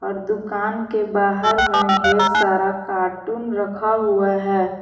दुकान के बाहर में ढेर सारा कार्टून रखा हुआ है।